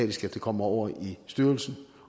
det kommer over i styrelsen